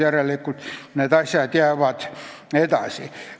Järelikult need asjad jäävad edasi.